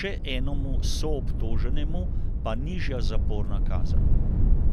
še enemu soobtoženemu pa nižja zaporna kazen.